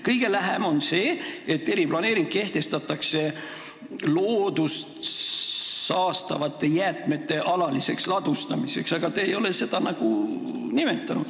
Kõige lähem on see, et eriplaneering tehakse loodust saastavate jäätmete alaliseks ladustamiseks, aga te ei ole seda nagu nimetanud.